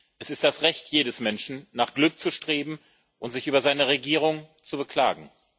Es ist das Recht jedes Menschen, nach Glück zu streben und sich über seine Regierung zu beklagen.